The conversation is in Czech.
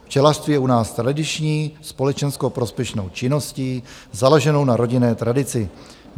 Včelařství je u nás tradiční společensko-prospěšnou činností založenou na rodinné tradici.